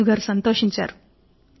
రాజుగారు సంతోషించారు